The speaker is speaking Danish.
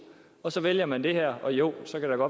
og så vælger man det her og jo så kan det